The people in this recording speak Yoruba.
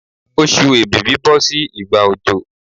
Oṣù èbìbí bọ́ sí ìgbà òjò